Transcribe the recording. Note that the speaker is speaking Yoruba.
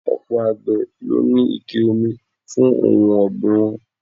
Ọ̀pọ̀ àgbè ló ní ike omi fún ohun ogbin wọn.